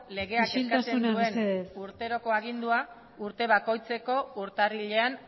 legeak ezartzen duen urteroko agindua urte bakoitzeko urtarrilean